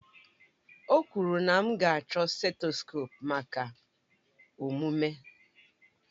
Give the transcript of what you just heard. O kwuru na m ga-achọ setskope maka omume